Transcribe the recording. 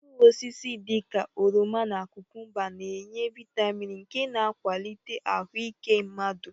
Mkpụrụosisi dị ka oroma na kụkụmba na-enye vịtamịn nke na-akwalite ahụ ike mmadụ.